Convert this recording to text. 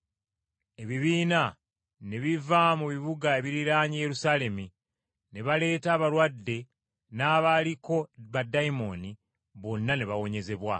Ebibiina ne biva mu bibuga ebiriraanye Yerusaalemi, ne baleeta abalwadde n’abaaliko baddayimooni, bonna ne bawonyezebwa.